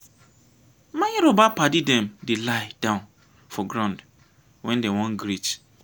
my yoruba paddy dem dey lie-down for ground wen dey wan greet.